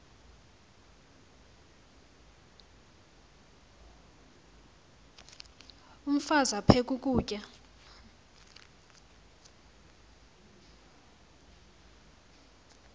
umfaz aphek ukutya